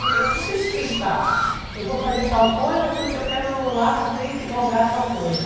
Eu não tenho que pensar, eu vou fazer tal coisa porque eu quero lá na frente galgar tal coisa.